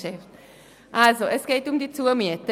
Also: Es geht um die Zumieten.